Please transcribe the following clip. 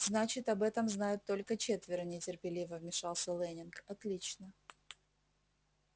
значит об этом знают только четверо нетерпеливо вмешался лэннинг отлично